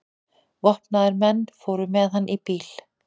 Vopnaðir menn fóru með hann í bíl.